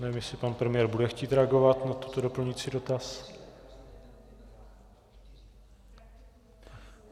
Nevím, jestli pan premiér bude chtít reagovat na ten doplňující dotaz.